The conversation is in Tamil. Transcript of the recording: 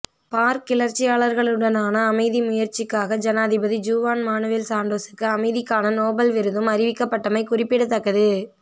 பார்க் கிளர்ச்சியாளர்களுடனான அமைதி முயற்சிக்காக ஜனாதிபதி ஜுவான் மானுவெல் சான்டோஸுக்கு அமைதிக்கான நோபல் விருதும் அறிவிக்கப்பட்டமை குறிப்பிடத்தக்கது